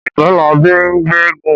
Ọ̀jẹ́labí ń gbéégún